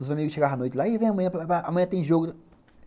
Os amigos chegavam à noite e falavam, amanhã tem jogo.